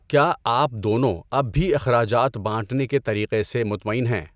کیا آپ دونوں اب بھی اخراجات بانٹنے کے طریقے سے مطمئن ہیں؟